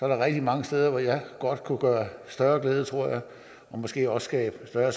der rigtig mange steder hvor jeg godt kunne gøre større glæde tror jeg og måske også skabe større